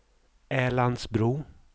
Älandsbro